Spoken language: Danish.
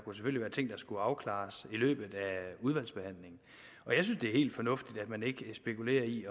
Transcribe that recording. skulle afklares i løbet at det er helt fornuftigt at man ikke spekulerer i